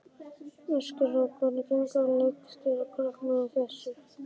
Ásgeir: Og hvernig gengur að leikstýra krökkum sem þessu?